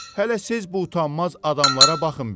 Hələ siz bu utanmaz adamlara baxın bir.